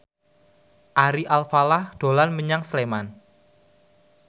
Ari Alfalah dolan menyang Sleman